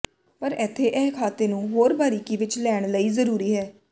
ਪਰ ਇੱਥੇ ਇਹ ਖਾਤੇ ਨੂੰ ਹੋਰ ਬਾਰੀਕੀ ਵਿੱਚ ਲੈਣ ਲਈ ਜ਼ਰੂਰੀ ਹੈ